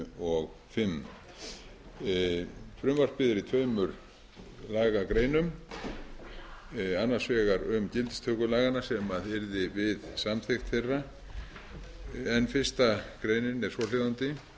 og fimm frumvarpið er í tveimur lagagreinum annars vegar um gildistöku laganna sem yrði við samþykkt þeirra en fyrstu grein er svohljóðandi með